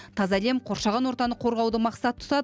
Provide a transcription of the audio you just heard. таза әлем қоршаған ортаны қорғауды мақсат тұтады